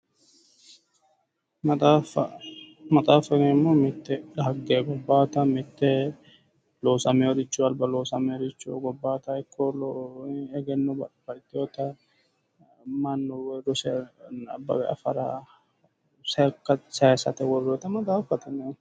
Maxaaffa. Maxaaffa yineemmohu mitte xagge mite loosameworicho egenno babbaxxitewota mannu woyi rose nabbawe afara sayisate worroonnita maxaaffate yinanni